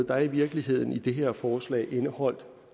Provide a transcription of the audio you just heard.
der i virkeligheden i det her forslag er indeholdt